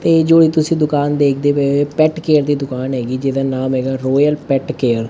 ਇਹ ਜੋ ਇਹ ਤੁਸੀਂ ਦੁਕਾਨ ਦੇਖਦੇ ਪਏ ਹੋ ਪੇਟ ਕੇਅਰ ਦੀ ਦੁਕਾਨ ਹੈਗੀ ਜਿਹਦਾ ਨਾਮ ਹੈਗਾ ਰੋਇਲ ਪੇਟ ਕੇਅਰ । ਤੇ